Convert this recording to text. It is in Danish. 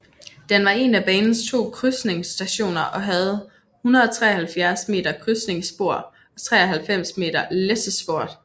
Den var en af banens to krydsningsstationer og havde 173 m krydsningsspor og 93 m læssespor